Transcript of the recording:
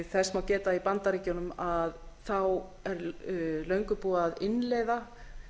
þess má geta að í bandaríkjunum er löngu búið að innleiða